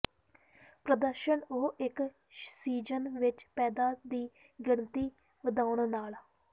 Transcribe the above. ਪ੍ਰਦਰਸ਼ਨ ਉਹ ਇੱਕ ਸੀਜ਼ਨ ਵਿੱਚ ਪੈਦਾ ਦੀ ਗਿਣਤੀ ਵਧਾਉਣ ਨਾਲ